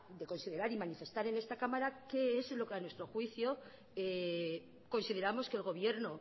de considerar y manifestar en esta cámara qué es lo que a nuestro juicio consideramos que el gobierno